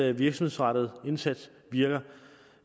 at virksomhedsrettet indsats virker